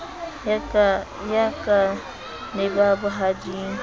ya ka le ba bohading